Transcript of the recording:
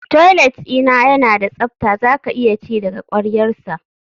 Toilet dina yana da tsafta zaka iya ci daga kwaryarsa